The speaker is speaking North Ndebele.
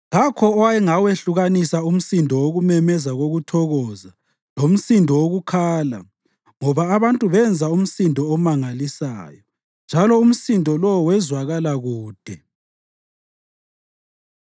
Kakho owayengawehlukanisa umsindo wokumemeza kokuthokoza lomsindo wokukhala ngoba abantu benza umsindo omangalisayo. Njalo umsindo lowo wezwakala kude.